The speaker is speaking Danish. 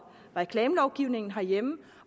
reklamelovgivningen herhjemme